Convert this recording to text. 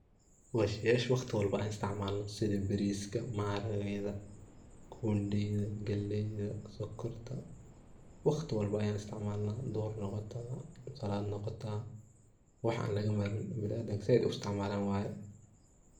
Waa sheyasha waqti walba an isticmalna sidaa bariska, maharageyda, kundeyda, galeyda, sonkorta waqti walbo ayan isticmalna dhuhur noqotaa, salaad noqotaa waxa an laga marmin biniadamka zaid ay u isticmalan waye.